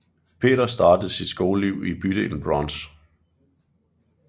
Peter startede sit skoleliv i bydelen Bronx